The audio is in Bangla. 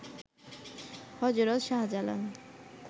হযরত শাহজালাল